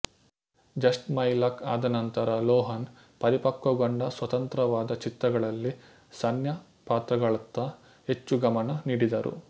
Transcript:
just my luck ಆದ ನಂತರ Lohan ಪರಿಪಕ್ವಗೊಂಡ ಸ್ವತಂತ್ರವಾದ ಚಿತ್ರಗಳಲ್ಲಿ ಸಣ್ಣ ಪಾತ್ರಗಳತ್ತ ಹೆಚ್ಚು ಗಮನ ನೀಡಿದರು